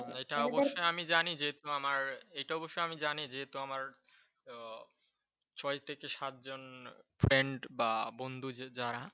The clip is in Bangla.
এটা অবশ্য আমি জানি যে যেহেতু আমার এটা অবশ্য আমি জানি যেহেতু আমার ও ছয় থেকে সাতজন friend বা বন্ধু যারা